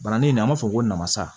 Bananin in na an b'a fɔ ko namasa